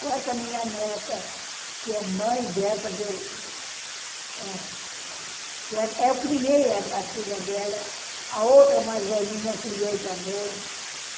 Com essa minha neta, que é mãe dessa que eu... É, que eu criei a filha dela, a outra mais velhinha eu criei também.